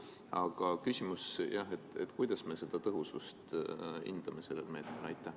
Aga küsimus: kuidas me seda tõhusust hindame sellel meetmel?